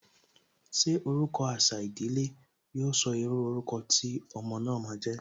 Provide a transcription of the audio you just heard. Ṣé orúkọ àṣà ìdílé, yo sọ írú orúkọ tí ọmọ náà ma jẹ́?